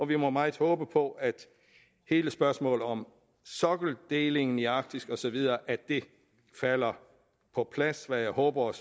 vi må meget håbe på at hele spørgsmålet om sokkeldelingen i arktis og så videre falder på plads hvad jeg håber og